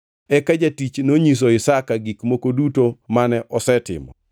Eka jatich nonyiso Isaka gik moko duto mane osetimo.